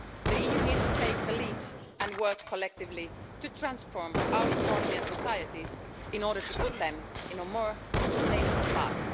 The EU needs to take the lead and work collectively to transform our economy and societies in order to put them on a more sustainable path.